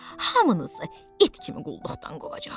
Hamınızı it kimi qulluqdan qovacaq.